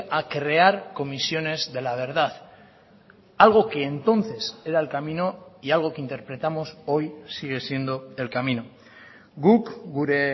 a crear comisiones de la verdad algo que entonces era el camino y algo que interpretamos hoy sigue siendo el camino guk gure